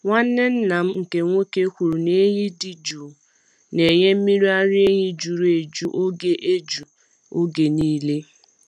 Nwanne nna m nkè nwoke kwuru na ehi dị jụụ na-enye mmiri ara ehi juru eju oge eju oge niile.